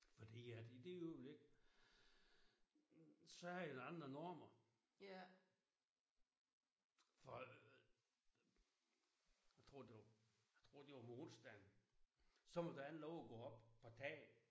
Fordi at i det øjeblik så er der andre normer for jeg tror det var jeg tror det var om onsdagen så måtte han ikke have lov at gå op på taget